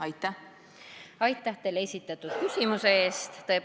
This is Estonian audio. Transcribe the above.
Aitäh esitatud küsimuse eest!